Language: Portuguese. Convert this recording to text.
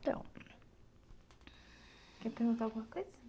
Então, quer perguntar alguma coisa?